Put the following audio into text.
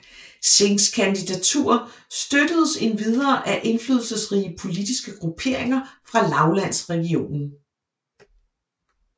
Singhs kandidatur støttedes endvidere af indflydelsesrige politiske grupperinger fra lavlandsregionen